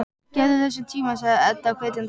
Gefðu þessu tíma, sagði Edda hvetjandi.